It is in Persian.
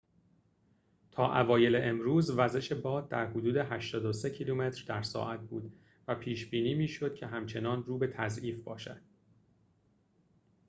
تا اوایل امروز وزش باد در حدود ۸۳ کیلومتر در ساعت بود و پیش بینی می شد که همچنان رو به تضعیف باشد